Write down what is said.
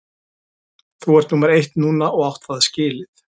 Þú ert númer eitt núna og átt það skilið.